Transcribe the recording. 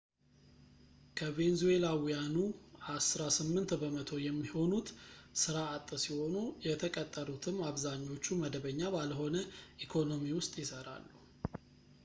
ከቬንዙዌላውያኑ አሥራ ስምንት በመቶ የሚሆኑት ሥራ አጥ ሲሆኑ የተቀጠሩትም አብዛኞቹ መደበኛ ባልሆነ ኢኮኖሚ ውስጥ ይሰራሉ